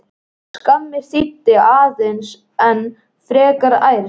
Skammir þýddu aðeins enn frekari ærsl.